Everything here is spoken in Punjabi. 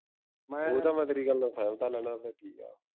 ਉਹ ਤਾਂ ਮੈਂ ਤੇਰੀ ਗੱਲ ਦਾ ਲੈਣਾ ਉਦਾਂ ਠੀਕ ਆ